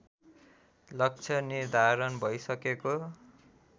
लक्ष्य निर्धारण भइसकेको